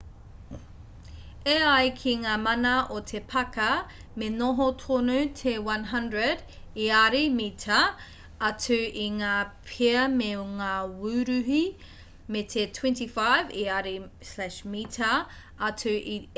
e ai ki ngā mana o te pāka me noho tonu te 100 iari/mita atu i ngā pea me ngā wuruhi me te 25 iari/mita atu i ērā atu kararehe mohoao katoa!